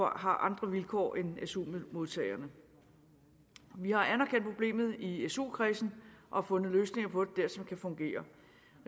andre vilkår end su modtagerne vi har anerkendt problemet i su kredsen og fundet løsninger på det der som kan fungere